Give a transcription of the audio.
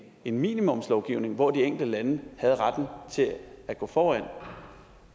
en minimumslovgivning hvor de enkelte lande havde retten til at gå foran